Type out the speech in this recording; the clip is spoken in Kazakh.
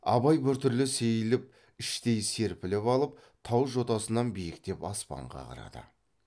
абай біртүрлі сейіліп іштей серпіліп алып тау жотасынан биіктеп аспанға қарады